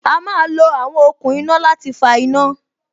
A má lo àwọn okùn iná láti fa iná